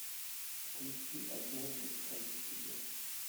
включи однажды в стране чудес